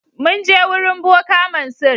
Mun je wurin boka Mansur.